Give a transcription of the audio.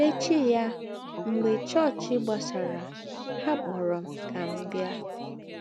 N’ēchí yà, mḡbè chọọ́chị gbàsàrà, hà kpọ̀rọ̀ m kà m bịa.